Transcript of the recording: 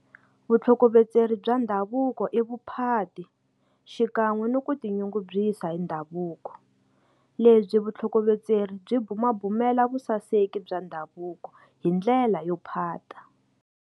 Vutlhokovetseri bya ndhavuko i vuphati xikanwe ni ku ti nyungubyisa hi ndhavuko lebyi vutlhokovetseri byi bumabumela vusaseki bya ndhavuko hi ndlela yo phata.